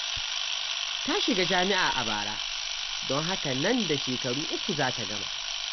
Ta shiga jami'a a bara, don haka nan da shekaru uku za ta gama.